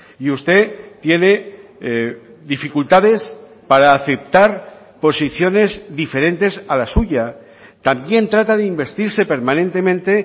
y usted tiene dificultades para aceptar posiciones diferentes a la suya también trata de investirse permanentemente